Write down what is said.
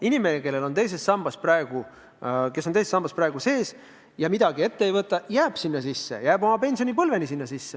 Inimene, kes praegu on teise sambaga liitunud ja midagi ette ei võta, jääb sinna edasi, jääb sinna oma pensionipõlveni.